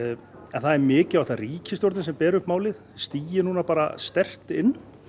en það er mikilvægt að ríkisstjórnin sem ber upp málið stigi núna bara sterkt inn